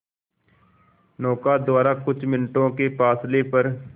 नौका द्वारा कुछ मिनटों के फासले पर